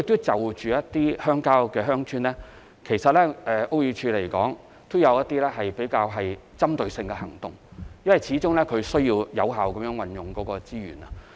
至於鄉郊或鄉村，屋宇署有一些針對性的行動，因為始終需要有效運用資源。